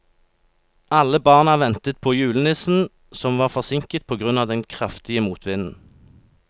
Alle barna ventet på julenissen, som var forsinket på grunn av den kraftige motvinden.